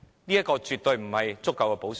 這些措施絕對不是足夠的補償。